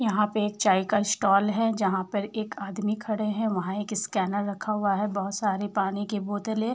यहाँ पे एक चाय का स्टाल हैं जहाँ पर एक आदमी खड़े हैं वहां एक स्कैनर रखा हुआ हैं बोहोत सारे पानी कि बोतले --